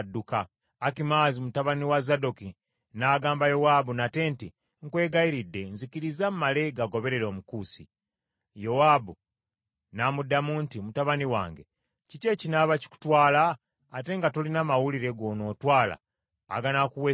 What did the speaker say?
Akimaazi mutabani wa Zadooki n’agamba Yowaabu nate nti, “Nkwegayiridde, nzikiriza mmale gagoberera Omukusi.” Yowaabu n’amuddamu nti, “Mutabani wange, kiki ekinaaba kikutwala ate nga tolina mawulire g’onootwala aganakuweesa ekirabo?”